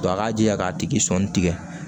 a k'a jija k'a tigi sɔnni tigɛ